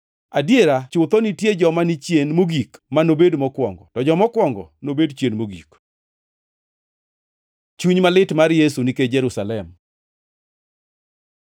Adiera chutho nitie joma ni chien mogik ma nobed mokwongo, to joma okwongo nobed chien mogik.” Chuny malit mar Yesu nikech Jerusalem